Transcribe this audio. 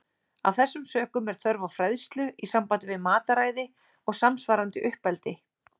Af þessum sökum er þörf á fræðslu í sambandi við mataræði og samsvarandi uppeldi.